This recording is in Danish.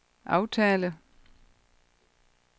aftale